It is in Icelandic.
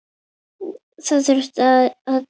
Það þurfti að draga